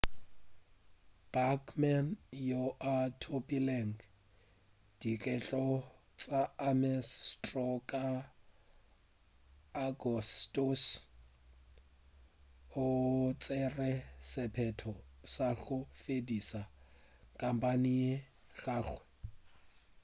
bachmann yo a thopilego dikgetho tša ames straw ka agostose o tšere sephetho sa go fediša khampeine ya gagwe